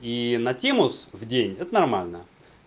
и на тему с в день это нормально